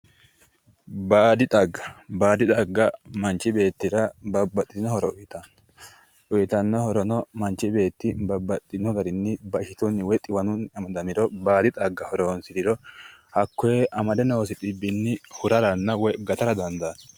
Baadi xagga, baadi xagga manchi beettira babbaxitino horo uyittano uyittano horono manchi beetti babbaxino garinni bashitu woyi xiwanunni amadamiro baadi xagga horonsirano, hakkoe amade noosi xibbini hurara woyi gattara dandaano.